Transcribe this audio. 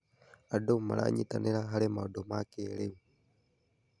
Andũ maranyitanĩra harĩ maũndũ ma kĩrĩu.